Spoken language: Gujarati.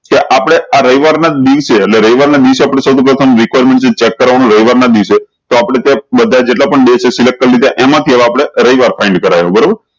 તો આપળે આ રવિવાર ના દિવસે એટલે રવિવાર ના દિવસે આપળે સૌ થી પ્રથમ reqirenment રવિવાર ના દિવસે તો આપળે ત્યાં બધા જેટલા પણ days છે find કરી લીધા એમાં થી હવે આપળે રવિવાર find કરાયો બરોબર